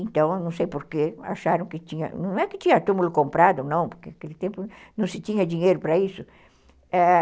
Então, não sei por que, acharam que tinha... Não é que tinha túmulo comprado, não, porque naquele tempo não se tinha dinheiro para isso, eh...